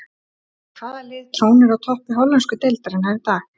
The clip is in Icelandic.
En hvaða lið trónir á toppi hollensku deildarinnar í dag?